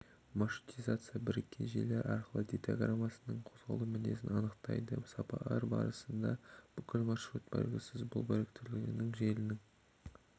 маршрутизациясы біріккен желілер арқылы дейтаграммасының қозғалуының мінезін анықтайды сапар басында бүкіл маршрут белгісіз бұл біріктірілген желінің